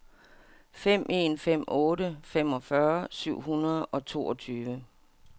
fem en fem otte femogfyrre seks hundrede og toogtyve